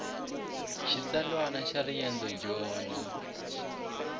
xitsalwana xa riendzo dyondo